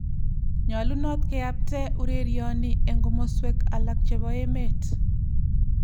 Nyolunot keyapte urerioni eng komoswek alak chebo emet .